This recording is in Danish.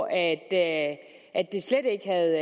at det slet ikke havde